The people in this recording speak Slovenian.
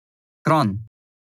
Kranj.